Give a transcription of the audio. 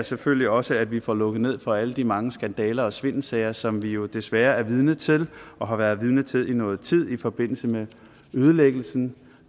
selvfølgelig også at vi får lukket ned for alle de mange skandaler og svindelsager som vi jo desværre er vidne til og har været vidne til i nogen tid det er i forbindelse med ødelæggelsen